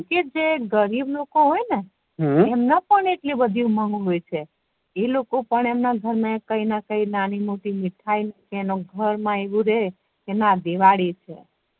કે જે ગરીબ લોકો હોય ને હમ એમ ને પણ એટલી બધી ઉમંગ હોય છે એ લોકો પણ એમના ઘર મા કઈ ને કઈ નાની મોટી મીઠાયો ને એમના ઘર મા આવુ રે કે ના દિવાળી છે